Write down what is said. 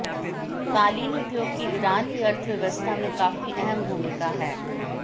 क़ालीन उद्योग की ईरान की अर्थव्यवस्था में काफ़ी अहम भूमिका है